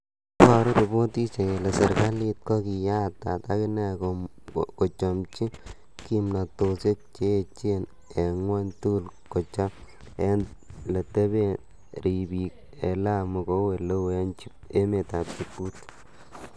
Iboru ripotisiek kele serkalit ko kiyatat akine kochomchi kimtonosiek che echen en gwony tugul kochob ele teben ribik en Lamu kou eleu en emetab Jibuti.